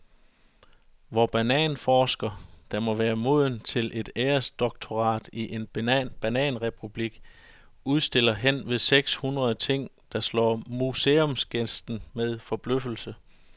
Vor bananforsker, der må være moden til et æresdoktorat i en bananrepublik, udstiller hen ved seks hundrede ting, der slår museumsgæsten med forbløffelse.